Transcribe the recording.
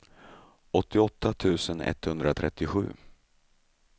åttioåtta tusen etthundratrettiosju